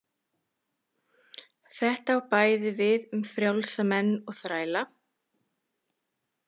Þetta á bæði við um frjálsa menn og þræla.